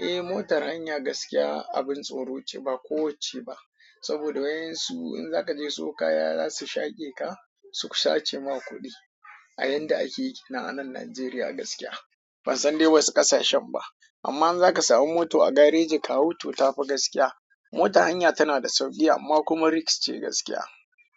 Eh, motar hanya gaskiya abin tsoro ce ba kowacce ba. Saboda wayen su in zaka je siyo kaya za su shaƙe ka, su sace ma kuɗi a yanda ake yi a nan Najeriya gaskiya. Ban san dai wasu ƙasashen ba. Amma in zaka samu moto a gareji ka hau to, ta fi gaskiya. Motan hanya tana da sauƙi amma kuma risks ce gaskiya.